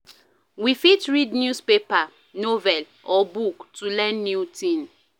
We fit read newspaper, novel or book to learn new thing